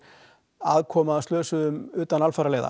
aðkoma að slösuðum utan